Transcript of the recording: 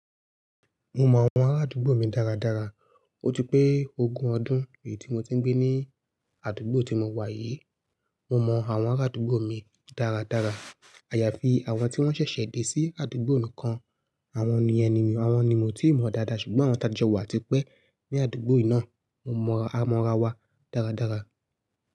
Mo mọ àwọn ará àdúgbò mi dáradára. Ó ti pé ogún ọdún èyí tí mo ti ń gbé ní àdúgbò tí mo wà yìí. Mo mọ àwọn ará àdúgbò mi dáradára. Àyàfi àwọn tí wọ́n ṣẹ̀ṣẹ̀ dé sí àdúgbò nìkan. Àwọn ni ẹni mi, àwọn ni mio ti mọ dáadáa ṣùgbọ́n àwọn tàjọ́ wà tí pé ní àdúgbò yìí náà. Mo mọ amora wa dáradára.